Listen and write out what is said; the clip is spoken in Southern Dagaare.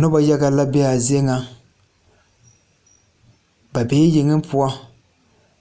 Nobɔ yaga la be aa zie ŋa ba bee yeŋe poɔ